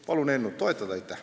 Palun eelnõu toetada!